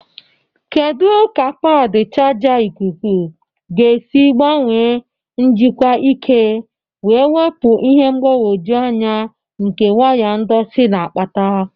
Kedu ka padi chaja ikuku ga-esi gbanwee njikwa ike wee wepụ ihe mgbagwoju anya nke waya ndọtị na-akpata?